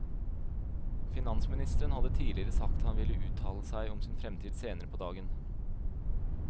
Finansministeren hadde tidligere sagt han ville uttale seg om sin fremtid senere på dagen.